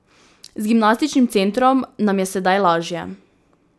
Z gimnastičnim centrom nam je sedaj lažje.